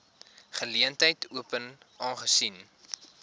geleentheid open aangesien